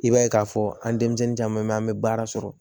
I b'a ye k'a fɔ an denmisɛnnin caman bɛ yen an bɛ baara sɔrɔ